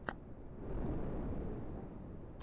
ютуб вилса